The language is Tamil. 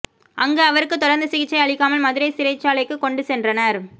அங்கு அவருக்கு தொடர்ந்து சிகிச்சை அளிக்காமல் மதுரை சிறைச்சாலைக்கு கொண்டு சென்றனர்